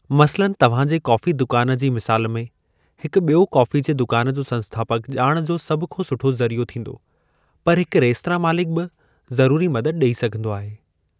मसलनि, तव्हां जे कॉफ़ी दुकान जी मिसाल में, हिकु बि॒यो कॉफी जे दुकान जो संस्थापक ॼाण जो सभ खां सुठो ज़रियो थींदो, पर हिकु रेस्तरां मालिक बि ज़रुरी मदद ॾेई सघिन्दो आहे।